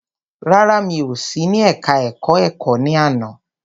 Rárá, mi ò sí ní ẹka ẹ̀kọ́ ẹ̀kọ́ ní àná.